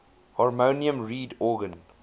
harmonium reed organ